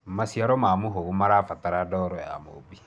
maciaro ma muhugu marabatara ndoro ya mumbi